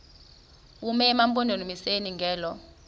bume emampondomiseni ngelo